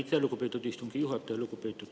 Aitäh, lugupeetud istungi juhataja!